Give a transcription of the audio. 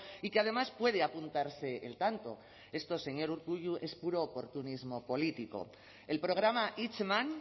y que además puede apuntarse el tanto esto señor urkullu es puro oportunismo político el programa hitzeman